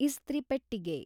ಇಸ್ತ್ರಿ ಪೆಟ್ಟಿಗೆ